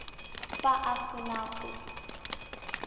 fa a se na go